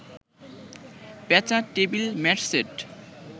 পেঁচা, table mat set